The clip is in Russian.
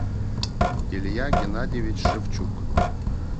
илья геннадьевич шевчук